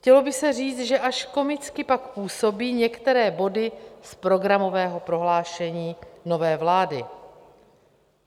Chtělo by se říct, že až komicky pak působí některé body z programového prohlášení nové vlády.